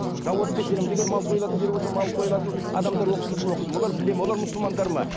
зауытты тексереміз егер мал сойылатын жер болса мал сойылатын адамдар оқытылды ма олар біледі ме олар мұсылмандар ма